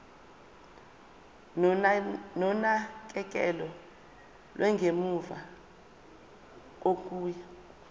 nonakekelo lwangemuva kokuya